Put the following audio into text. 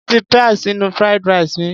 Mo fi peas sínú fried rice mi.